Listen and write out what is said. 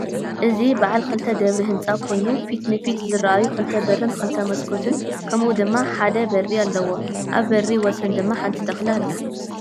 እዚ በዓል ክልተ ደብሪ ህንፃ ኮይኑ ፊት ንፊት ዝረአዩ ክልተ በርን ክልተ መስኮትን ከምኡ ድማ ሓደ በሪ አለዎ፡፡ አብ በሪ ወሰን ድማ ሓንቲ ተክሊ አላ፡፡